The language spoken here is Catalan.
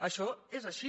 això és així